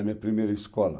Da minha primeira escola?